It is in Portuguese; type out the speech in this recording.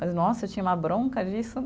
Mas nossa, eu tinha uma bronca disso.